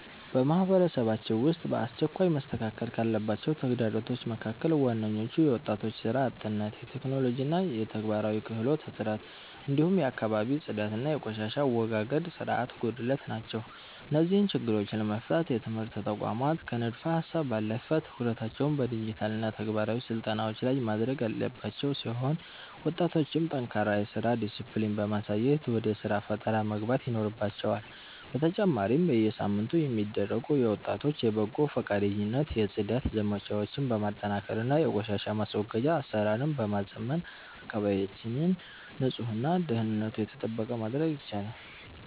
በማህበረሰባችን ውስጥ በአስቸኳይ መስተካከል ካለባቸው ተግዳሮቶች መካከል ዋነኞቹ የወጣቶች ሥራ አጥነት፣ የቴክኖሎጂና የተግባራዊ ክህሎት እጥረት፣ እንዲሁም የአካባቢ ጽዳትና የቆሻሻ አወጋገድ ሥርዓት ጉድለት ናቸው። እነዚህን ችግሮች ለመፍታት የትምህርት ተቋማት ከንድፈ-ሀሳብ ባለፈ ትኩረታቸውን በዲጂታልና ተግባራዊ ስልጠናዎች ላይ ማድረግ ያለባቸው ሲሆን፣ ወጣቶችም ጠንካራ የሥራ ዲስፕሊን በማሳየት ወደ ሥራ ፈጠራ መግባት ይኖርባቸዋል፤ በተጨማሪም በየሳምንቱ የሚደረጉ የወጣቶች የበጎ ፈቃደኝነት የጽዳት ዘመቻዎችን በማጠናከርና የቆሻሻ ማስወገጃ አሰራርን በማዘመን አካባቢያችንን ንጹህና ደህንነቱ የተጠበቀ ማድረግ ይቻላል።